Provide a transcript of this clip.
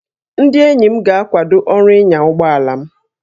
Ndị enyi m ga-akwado ọrụ ịnya ụgbọ ala m